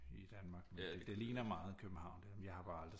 I Danmark men det ligner meget København det jeg har bare aldrig